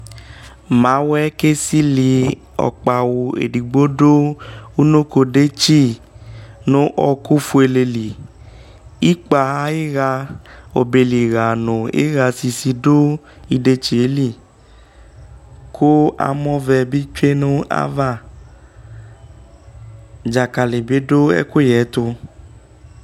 mawɛ ko esili ɔkpawo edigbo do unoko detsi no ɔko fuele li ikpa ayo iɣa ɔbɛli ɣa no iɣa sidi do idetsie li ko amɔvɛ bi tsue no ava dzakali bi do ɛkoyɛ to